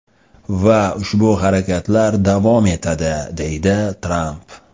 Va ushbu harakatlar davom etadi”, deydi Tramp.